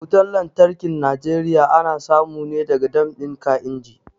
Wutan lantarkin Najeriya ana samu ne daga dam ɗin kainji